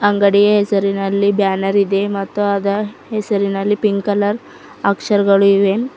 ಅಂಡಗಿಯ ಹೆಸರಿನಲ್ಲಿ ಬ್ಯಾನರ್ ಇದೆ ಮತ್ತು ಅದ ಹೆಸರಿನಲ್ಲಿ ಪಿಂಕ್ ಕಲರ್ ಅಕ್ಷರಗಳು ಇವೆ.